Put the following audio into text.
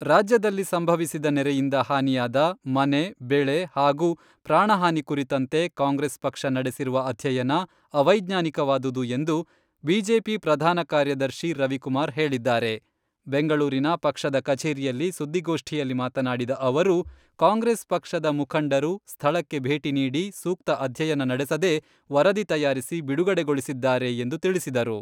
ರಾಜ್ಯದಲ್ಲಿ ಸಂಭವಿಸಿದ ನೆರೆಯಿಂದ ಹಾನಿಯಾದ ಮನೆ, ಬೆಳೆ ಹಾಗೂ ಪ್ರಾಣ ಹಾನಿ ಕುರಿತಂತೆ ಕಾಂಗ್ರೆಸ್ ಪಕ್ಷ ನಡೆಸಿರುವ ಅಧ್ಯಯನ ಅವೈಜ್ಞಾನಿಕವಾದುದು ಎಂದು ಬಿಜೆಪಿ ಪ್ರಧಾನ ಕಾರ್ಯದರ್ಶಿ ರವಿಕುಮಾರ್ ಹೇಳಿದ್ದಾರೆ ಬೆಂಗಳೂರಿನ ಪಕ್ಷದ ಕಚೇರಿಯಲ್ಲಿ ಸುದ್ದಿಗೋಷ್ಠಿಯಲ್ಲಿ ಮಾತನಾಡಿದ ಅವರು, ಕಾಂಗ್ರೆಸ್ ಪಕ್ಷದ ಮುಖಂಡರು ಸ್ಥಳಕ್ಕೆ ಬೇಟಿ ನೀಡಿ ಸೂಕ್ತ ಅಧ್ಯಯನ ನಡೆಸದೇ ವರದಿ ತಯಾರಿಸಿ ಬಿಡುಗಡೆಗೊಳಿಸಿದ್ದಾರೆ ಎಂದು ತಿಳಿಸಿದರು.